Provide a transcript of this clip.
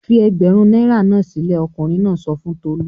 "Ẹgbẹ̀rún náírà náà sílẹ̀!" Ọkùnrin náà sọ fún Tolú.